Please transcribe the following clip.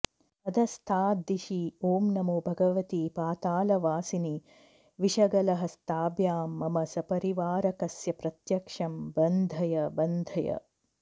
अधस्ताद्दिशि ॐ नमो भगवति पातालवासिनि विषगलहस्ताभ्यां मम सपरिवारकस्य प्रत्यक्षं बन्धय बन्धय